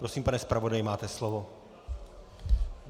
Prosím, pane zpravodaji, máte slovo.